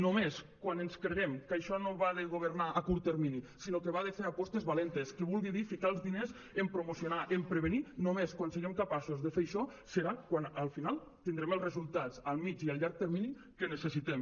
només quan ens creguem que això no va de governar a curt termini sinó que va de fer apostes valentes que vulgui dir ficar els diners en promocionar en prevenir només quan siguem capaços de fer això serà quan al final tindrem els resultats a mitjà i a llarg termini que necessitem